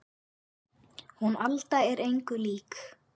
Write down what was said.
Hún Alda er engu lík